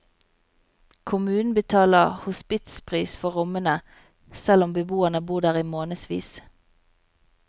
Kommunen betaler hospitspris for rommene, selv om beboerne bor der i månedsvis.